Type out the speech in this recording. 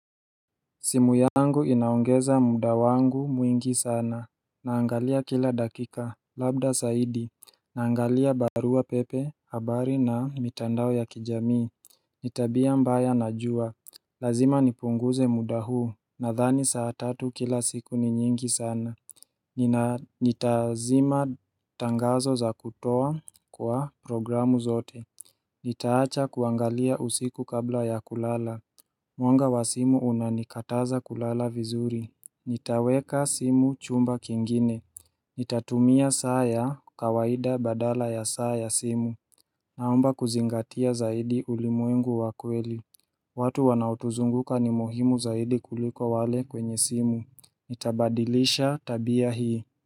Simu yangu inaongeza muda wangu mwingi sana Naangalia kila dakika labda zaidi Naangalia barua pepe habari na mitandao ya kijamii ni tabia mbaya najua Lazima nipunguze muda huu nadhani saa tatu kila siku ni nyingi sana Nitaazima tangazo za kutoa kwa programu zote Nitaacha kuangalia usiku kabla ya kulala Mwanga wa simu unanikataza kulala vizuri Nitaweka simu chumba kingine Nitatumia saa ya kawaida badala ya saa ya simu Naomba kuzingatia zaidi ulimwengu wa kweli watu wanaotuzunguka ni muhimu zaidi kuliko wale kwenye simu Nitabadilisha tabia hii.